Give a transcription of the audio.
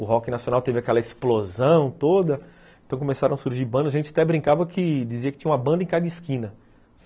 O rock nacional teve aquela explosão toda, então começaram a surgir bandas, a gente até brincava que dizia que tinha uma banda em cada esquina.